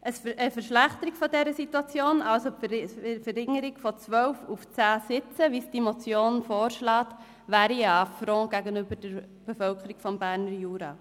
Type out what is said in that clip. Die Verschlechterung dieser Situation, also die Verringerung von 12 auf 10 Sitze, wie die Motion vorschlägt, wäre ein Affront gegenüber der Bevölkerung des Berner Juras.